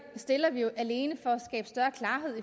stiller vi jo alene